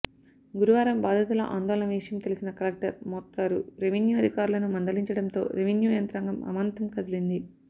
గురువారం బాధితుల ఆందోళన విషయం తెలిసి కలెక్టర్ మోత్కూరు రెవెన్యూ అధికారులను మందలించడంతో రెవెన్యూ యంత్రాంగం ఆమాంతం కదిలింది